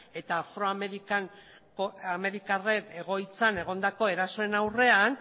eta afroamerikarren egoitzan egondako erasoen aurrean